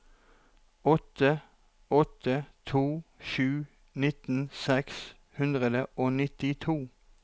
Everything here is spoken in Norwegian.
åtte åtte to sju nitten seks hundre og nittito